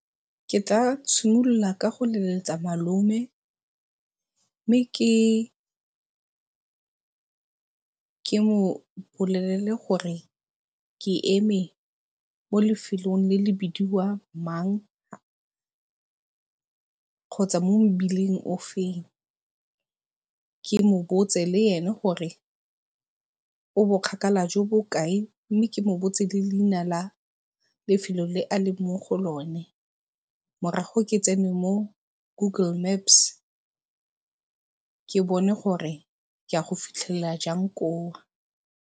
Ke tla tshimolola ka go leletsa malome mme ke mo bolelele gore ke eme mo lefelong le le bidiwang mang kgotsa mo mobileng ofeng. Ke mobotse le ene gore o bokgakala jo bo kae mme ke mo botse le leina la lefelo le a leng mo go lone. Morago ke tsene mo google maps ke bone gore ke a go fitlhelela jang koo.